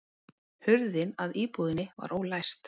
Hurðin að íbúðinni var ólæst